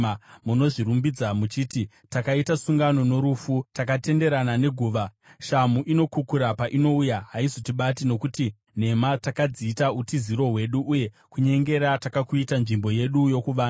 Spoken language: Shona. Munozvirumbidza muchiti, “Takaita sungano norufu, takatenderana neguva. Shamhu inokukura painouya, haizotibati, nokuti nhema takadziita utiziro hwedu, uye kunyengera takakuita nzvimbo yedu yokuvanda.”